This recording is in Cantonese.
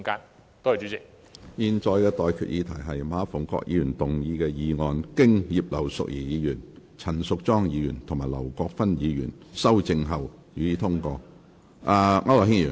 我現在向各位提出的待決議題是：馬逢國議員動議的議案，經葉劉淑儀議員、陳淑莊議員及劉國勳議員修正後，予以通過。